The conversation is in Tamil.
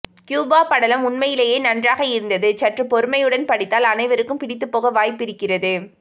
கியூபா படலம் உண்மையிலேயே நன்றாக இருந்தது சற்று பொறுமையுடன் படித்தால் அனைருக்கும் பிடித்துப் போக வாய்ப்பிருக்கிறது